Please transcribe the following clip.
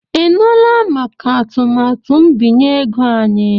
Ị nụla maka atụmatụ mbinye ego anyị?